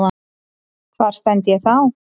Hvar stend ég þá?